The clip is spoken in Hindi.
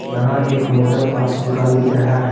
यहां एक मोटर पार्ट्स दुकान दिख रहा है।